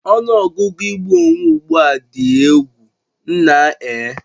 Ọnụ ọgụgụ igbu onwe ugbu a dị egwu, nna eh